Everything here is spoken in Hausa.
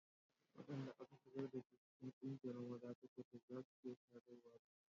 Wadanda aka shigar da su cikin kungiyar maza ta Kwattos za su iya sadarwa da aljanu.